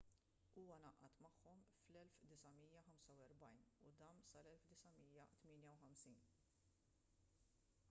huwa ngħaqad magħhom fl-1945 u dam sal-1958